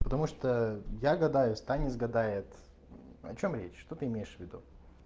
потому что я гадаю станец гадает о чём речь что ты имеешь в виду